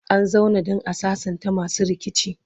an zauna dan a sassanta masu rikici